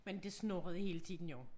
Men det snurrede hele tiden jo